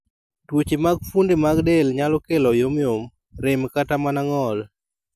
Tuoche mag fuonde mag del nyalo kelo yomyom, rem kata mana ng'ol.